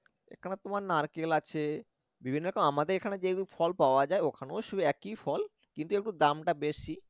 এখানে তোমার নারকেল আছে বিভিন্ন রকম আমাদের এখানে যেমন ফল পাওয়া যায় ওখানেও সেই একই ফল কিন্তু একটু দামটা বেশি